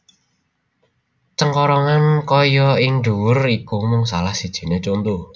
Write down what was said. Cengkorongan kaya ing dhuwur iku mung salah sijine conto